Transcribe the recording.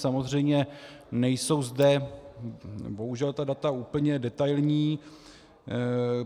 Samozřejmě nejsou zde bohužel ta data úplně detailní.